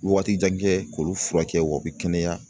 Waati jan kɛ k'olu furakɛ o bɛ kɛnɛya